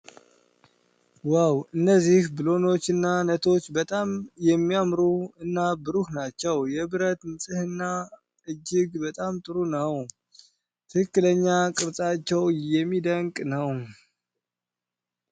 ዋው! እነዚህ ብሎኖች እና ነቶች በጣም የሚያምሩ እና ብሩህ ናቸው። የብረቱ ንጽህና እጅግ በጣም ጥሩ ነው። ትክክለኛ ቅርጻቸው የሚደንቅ ነው።